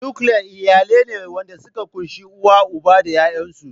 "Nuclear" iyalai ne wanda suka kunshi uw, uba da yayansu.